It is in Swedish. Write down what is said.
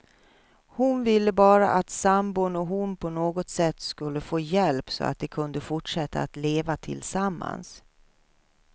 Hon ville bara att sambon och hon på något sätt skulle få hjälp, så att de kunde fortsätta att leva tillsammans.